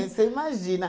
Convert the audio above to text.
Você imagina.